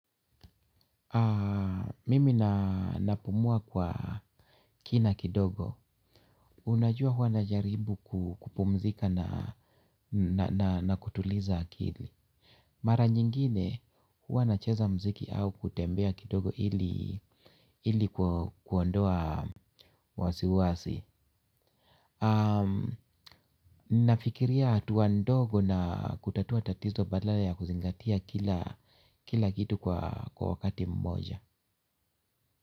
Mimi na napumua kwa kina kidogo. Unajua hua najaribu kupumzika na kutuliza akili. Mara nyingine hua nacheza mziki au kutembea kidogo ili kuondoa wasi wasi. Nafikiria hatua ndogo na kutatua tatizo badala ya kuzingatia kila kitu kwa wakati mmoja.